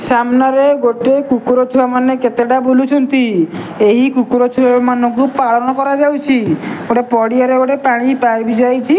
ସାମ୍ନାରେ ଗୋଟେ କୁକୁରଛୁଆମାନେ କେତେଟା ବୁଲୁଛନ୍ତି। ଏହି କୁକୁରଛୁଆମାନଙ୍କୁ ପାଳନ କରାଯାଉଛି। ଗୋଟେ ପଡ଼ିଆରେ ଗୋଟେ ପାଣି ପାଇପି ଯାଇଚି।